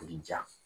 I bi ja